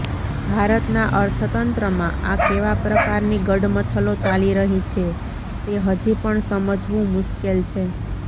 ભારતના અર્થતંત્રમાં આ કેવા પ્રકારની ગડમથલો ચાલી રહી છે તે હજી પણ સમજવું મુશ્કેલ છે